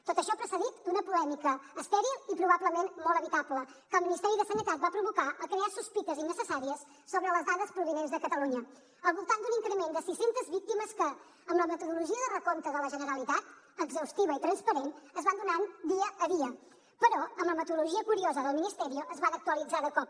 tot això precedit d’una polèmica estèril i probablement molt evitable que el ministeri de sanitat va provocar al crear sospites innecessàries sobre les dades provinents de catalunya al voltant d’un increment de sis centes víctimes que amb la metodologia de recompte de la generalitat exhaustiva i transparent es van donant dia a dia però amb la metodologia curiosa del ministerio es van actualitzar de cop